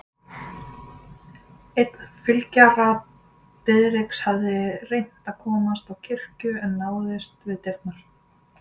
Einn fylgjara Diðriks hafði reynt að komast á kirkju en náðist við dyrnar.